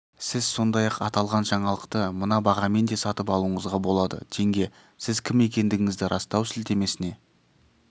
сіз сондай-ақ аталған жаңалықты мына бағамен де сатып алуыңызға болады теңге сіз кім екендігіңізді растау сілтемесіне